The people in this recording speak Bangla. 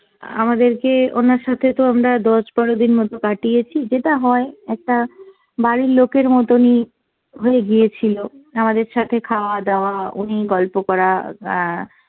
আমাদেরকে ওনার সাথে তো আমরা দশ বারো দিন মতো কাটিয়েছি, যেটা হয় একটা বাড়ির লোকের মতনই হয়ে গিয়েছিল, আমাদের সাথে খাওয়া দাওয়া উনি গল্প করা অ্যাঁ